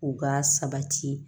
U ka sabati